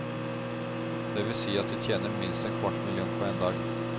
Det vil si at de tjener minst en kvart million på en dag.